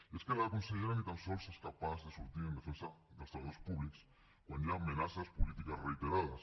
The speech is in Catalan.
i és que la consellera ni tan sols és capaç de sortir en defensa dels treballadors públics quan hi ha amenaces polítiques reiterades